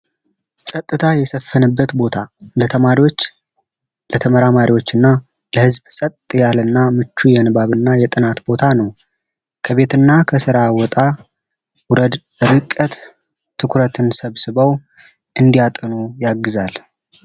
ጸጥታ የሰፈንበት ቦታ ለተማሪዎች ለተመራማሪዎችና የዝብ ብዛት ያለ እና ምቹ የንባብና የጥናት ቦታ ነው ከቤትና ከስራ ውጣ ውረድ ርቀት ትኩረት ሰብስበው እንዲያጠኑ ያግዛል